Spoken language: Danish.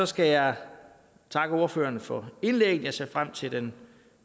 skal jeg takke ordførerne for indlæggene jeg ser frem til den